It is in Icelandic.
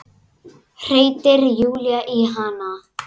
hreytir Júlía í hana.